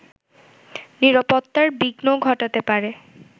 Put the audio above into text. নিরাপত্তার বিঘ্ন ঘটাতে পারে